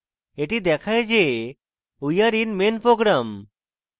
এটি দেখায় যে we are in main program